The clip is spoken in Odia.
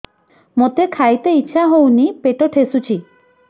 ମୋତେ ଖାଇତେ ଇଚ୍ଛା ହଉନି ପେଟ ଠେସୁଛି